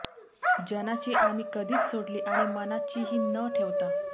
जनाची आम्ही कधिच सोडली आणि मनाची ही न ठेवता